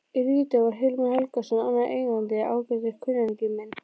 Í Lídó var Hilmar Helgason annar eigandinn, ágætur kunningi minn.